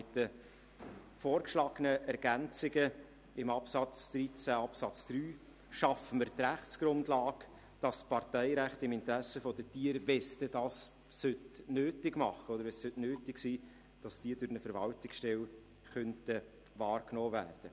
Mit den vorgeschlagenen Ergänzungen in Artikel 13 schaffen wir die Rechtsgrundlage, dass das Parteirecht im Interesse der Tiere – sollte es denn nötig sein – durch eine Verwaltungsstelle wahrgenommen werden könnte.